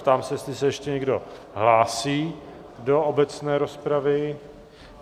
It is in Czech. Ptám se, jestli se ještě někdo hlásí do obecné rozpravy?